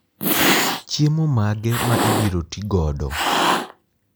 Chiemo mage ma ibiro tigodo?